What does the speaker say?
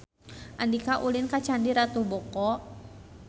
Andika ulin ka Candi Ratu Boko